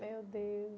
Meu Deus.